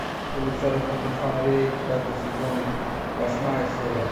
улица разбитых фонарей пятый сезон восьмая серия